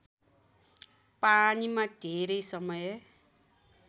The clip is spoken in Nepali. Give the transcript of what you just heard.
पानीमा धेरै समय